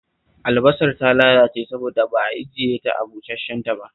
Albasar ta lalace saboda ba ajiye ta a busash-shen ba